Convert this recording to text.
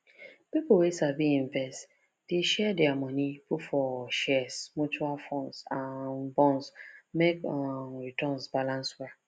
people wey sabi investment dey share their money put for shares mutual funds and bonds make um returns balance well